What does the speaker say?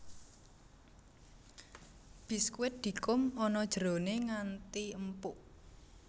Biskuit dikum ana jerone nganti empuk